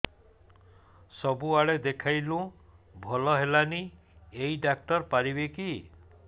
ସବୁଆଡେ ଦେଖେଇଲୁ ଭଲ ହେଲାନି ଏଇ ଡ଼ାକ୍ତର ପାରିବେ କି